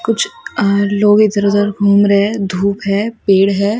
कुछ अ लोग इधर उधर घूम रहे हैं धूप है पेड़ है।